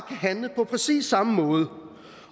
handle på præcis samme måde